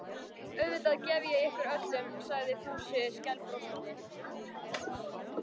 Auðvitað gef ég ykkur öllum sagði Fúsi skælbrosandi.